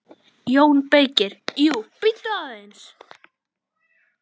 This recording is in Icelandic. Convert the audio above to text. JÓN BEYKIR: Jú, bíddu aðeins!